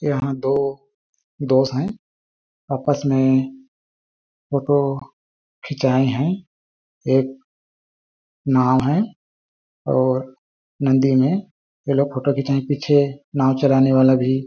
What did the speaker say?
यहाँ दो दोस्त है आपस में फ़ोटो खिचाये है एक नाव है और नदी में यह लोग फ़ोटो खिचाने के पीछे नाव चलाने वाला भी--